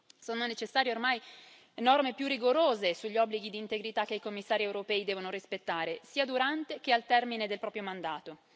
Sono necessarie ormai norme più rigorose sugli obblighi di integrità che i commissari europei devono rispettare, sia durante che al termine del proprio mandato.